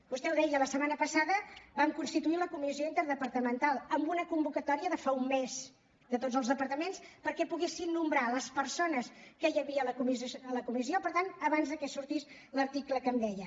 vostè ho deia la setmana passada vam constituir la comissió interdepartamental en una convocatòria de fa un mes de tots els departaments perquè poguessin nomenar les persones que hi havia a la comissió per tant abans de que sortís l’article que em deia